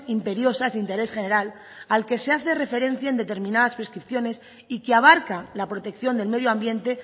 imperiosas de interés general al que se hace referencia en determinadas prescripciones y que abarca la protección del medio ambiente